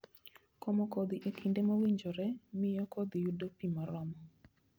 Komo kodhi e kinde mowinjore, miyo kodhi yudo pi moromo.